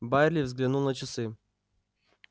байерли взглянул на часы